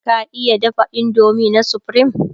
ka iya dafa indomie na supreme?